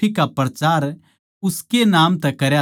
थम इन सारी बात्तां के गवाह सों